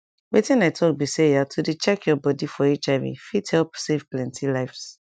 wetin i talk be sayah to dey check your bodi for hiv fit help save plenti lives